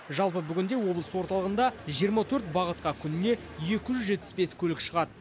жалпы бүгінде облыс орталығында жиырма төрт бағытқа күніне екі жүз жетпіс бес көлік шығады